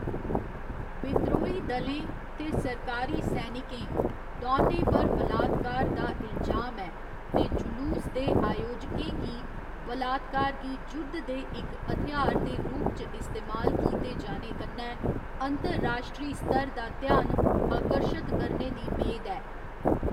बिद्रोही दलें ते सरकारी सैनिकें, दौनें पर बलात्कार दा इलजाम ऐ ते जुलूस दे आयोजकें गी बलात्कार गी जुद्ध दे इक हथ्यार दे रूप च इस्तेमाल कीते जाने कन्नै अंतर्राश्ट्री स्तर दा ध्यान आकर्शत करने दी मेद ऐ।